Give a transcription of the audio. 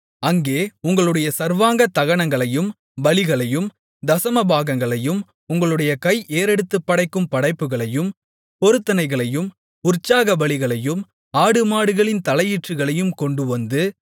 அங்கே உங்களுடைய சர்வாங்க தகனங்களையும் பலிகளையும் தசமபாகங்களையும் உங்களுடைய கை ஏறெடுத்துப் படைக்கும் படைப்புகளையும் பொருத்தனைகளையும் உற்சாகபலிகளையும் ஆடுமாடுகளின் தலையீற்றுகளையும் கொண்டுவந்து